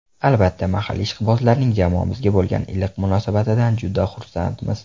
Albatta, mahalliy ishqibozlarning jamoamizga bo‘lgan iliq munosabatidan juda xursandmiz.